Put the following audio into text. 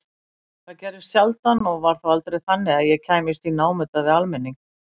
Það gerðist sjaldan og var þá aldrei þannig að ég kæmist í námunda við almenning.